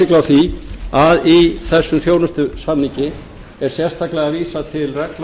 því að í þessum þjónustusamningi er sérstaklega vísað til reglna